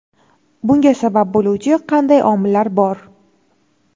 Bunga sabab bo‘luvchi qanday omillar bor?.